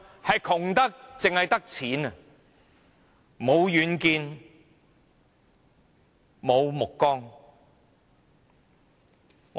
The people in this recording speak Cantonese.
是窮得只剩下錢，無遠見，無目光。